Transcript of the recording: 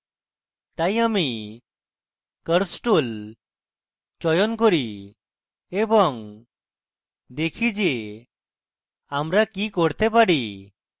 তাই আমি curves tool চয়ন করি এবং দেখি যে আমরা কি করতে পারি